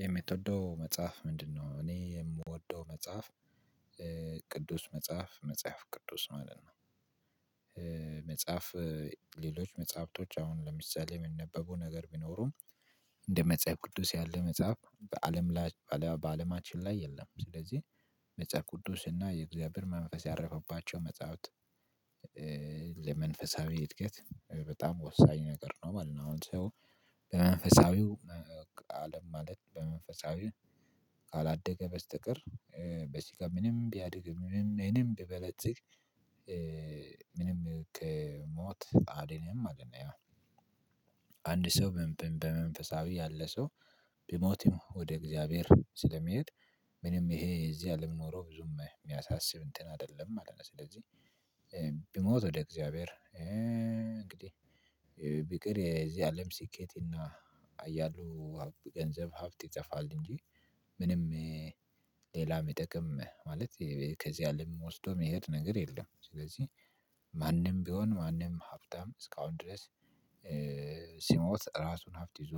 የምትወደው መጽሐፍ ምንድነው? እኔ የምወደው መጽሐፍ ቅዱስ መጽሐፍ መጽሐፍ ቅዱስ ማለት ነው። መጽሐፍ ሌሎች መጽሐፍቶች አሁን ለምሳሌ ሚነበቡ ነገር ቢኖሩም። እንደ መጽሐፍ ቅዱስ ያለ መጽሐፍ በአለም በአለማችን ላይ የለም። ስለዚህ መጽሐፍ ቅዱስና የእግዚአብሔር መንፈስ ያረፈባቸው መጽሐፍት። ለመንፈሳዊ እድገት በጣም ወሳኝ ነገር ነው ማለት ነው። አሁን ሰው በመንፈሳዊው አለም ማለት በመንፈሳዊ ካላደገ በስተቀር በስጋ ምንም ቢያድግ ምንም ምንም ቢበለጽግ ምንም ከ ሞት አያድንም ማለት ነው። አንድ ሰው በመንፈሳዊ ያለ ሰው ቢሞትም ወደ እግዚአብሔር ስለሚሄድ ምንም ይሄ የዚህ አለም ኑሮ ብዙም ሚያሳስብ እንትን አይደለም ማለት ነው። ስለዚህ ቢሞት ወደ እግዚአብሔር እንግዲህ ቢቀር የዚህ አለም ስኬት እና አያሉ ገንዘብ ሀብት ይጠፋል እንጂ ምንም ሌላ ሚጠቅም ማለት ከዚህ አለም ወስዶ ሚሄድ ነገር የለም። ስለዚህ ማንም ቢሆን ማንም ሀብታም እስካሁን ድረስ ሲሞት ራሱን ሀብት ይዞ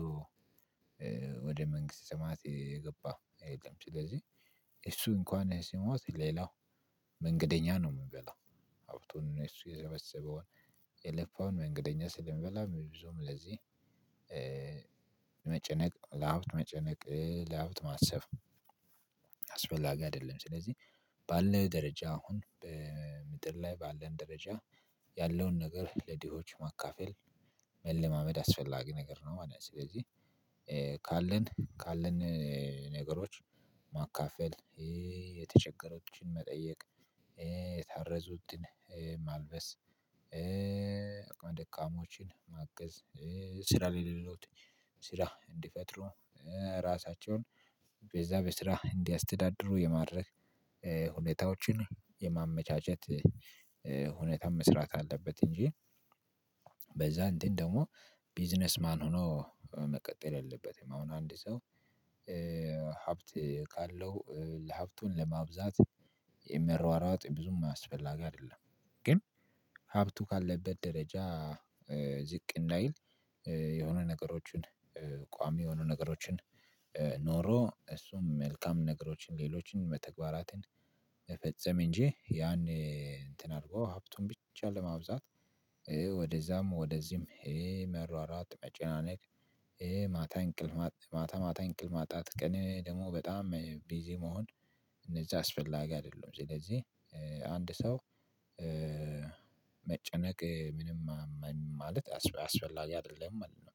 ወደ መንግስት ሰማያት የገባ የለም። ስለዚህ እሱ እንኳን ሲሞት ሌላው መንገደኛ ነው ሚበላው ሀብቱን እሱ የሰበሰበውን የለፋውን መንገደኛ ስለሚበላ ብዙም ለዚህ መጨነቅ ለሃብት መጨነቅ ለሀብት ማሰብ አስፈላጊ አይደለም። ስለዚህ ባለ ደረጃ አሁን በምድር ላይ ባለን ደረጃ ያለውን ነገር ለድሆች ማካፈል መለማመድ አስፈላጊ ነገር ነው ማለት ነው። ስለዚህ ካለን ካለን ነገሮች ማካፈል የተቸገሮችን መጠየቅ የታረዙትን ማልበስ አቅመ ደካሞችን ማገዝ ስራ ለሌሉት ስራ እንዲፈጥሩ ራሳቸውን በዛ በስራ እንዲያስተዳድሩ የማድረግ ሁኔታዎችን የማመቻቸት ሁኔታም መስራት አለበት። እንጂ በዛ እንትን ደግሞ ቢዝነስ ማን ሆኖ መቀጠል የለበትም። አሁን አንድ ሰው ሀብት ካለው ለሀብቱ ለማብዛት መሯሯጥ ብዙም አስፈላጊ አይደለም። ግን ሀብቱ ካለበት ደረጃ ዝቅ እንዳይል የሆነ ነገሮችን ቋሚ የሆኑ ነገሮችን ኖሮ እሱም መልካም ነገሮችን ሌሎችን መተግባራትን መፈጸም እንጂ ያን እንትን አድርጎ ሀብቱን ብቻ ለማብዛት ወደዛም ወደዚህም መሯሯጥ መጨናነቅ ይሄ ማታ እንቅል ማታ ማታ እንቅል ማጣት ቀን ደግሞ በጣም ቢዚ መሆን እነዚህ አስፈላጊ አይደሉም። ስለዚህ አንድ ሰው መጨነቅ ምንም ማለት አስፈላጊ አይደለም ማለት ነው።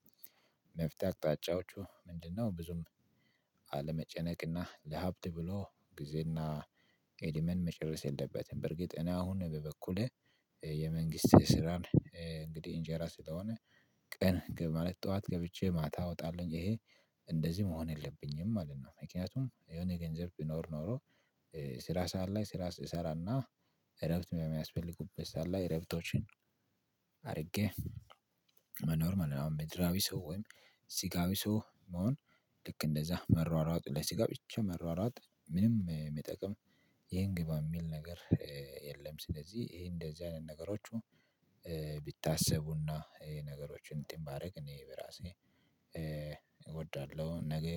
መፍትሄ አቅጣጫዎቹ ምንድነው? ብዙም አለመጨነቅና ለሀብት ብሎ ጊዜና እድሜን መጨረስ የለበትም። በርግጥ እኔ አሁን በበኩሌ የመንግስት ስራን እንግዲህ እንጀራ ስለሆነ ቀን ማለት ጠዋት ገብቼ ማታ እወጣለሁኝ ይሄ እንደዚህ መሆን የለብኝም ማለት ነው። ምክንያቱም የሆነ ገንዘብ ቢኖር ኖሮ ስራ ሰዓት ላይ ስራ እሰራና እረብት የሚያስፈልጉበት ሰዓት ላይ እረፍቶችን አድርጌ መኖር ማለት ነው። አሁን ምድራዊ ሰውን ስጋቢ ሰው መሆን ልክ እንደዛ መሯሯጡ ለስጋ ብቻ መሯሯጥ ምንም ሚጠቅም ይሄን ግባ ሚል ነገር የለም። ስለዚህ ይሄ እንደዚህ አይነት ነገሮች ቢታሰቡና እና ይሄ ነገሮችን እንትን ባደርግ እኔ በራሴ እወዳለሁ ነገ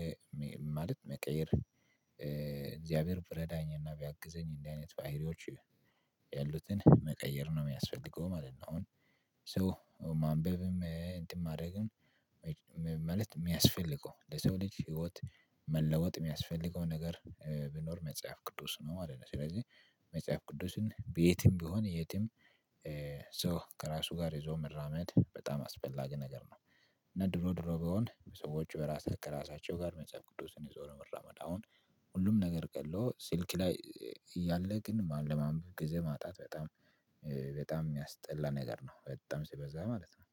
ማለት መቀየር እግዚአብሔር ቢረዳኝ እና ቢያግዘኝ እንዲህ አይነት ባህሪዎች ያሉትን መቀየር ነው። የሚያስፈልገው ማለት ነው። አሁን ሰው ማንበብም እንትን ማድረግም ማለት ሚያስፈልገው ለሰው ልጅ ህይወት መለወጥ ሚያስፈልገው ነገር ቢኖር መጽሐፍ ቅዱስ ነው ማለት ነው። ስለዚህ መጽሐፍ ቅዱስን በየትም ቢሆን የትም ሶ ከራሱ ጋር ይዞ መራመድ በጣም አስፈላጊ ነገር ነው። እና ድሮ ድሮ ቢሆን ሰዎች በራሳቸው ከራሳቸው ጋር መጽሐፍ ቅዱስን የዞረ መራመድ አሁን ሁሉም ነገር ቀሎ ሲልክ ላይ ያለ ግን ለማንበብ ጊዜ ማጣት በጣም በጣም ሚያስጠላ ነገር ነው። በጣም ሲበዛ ማለት ነው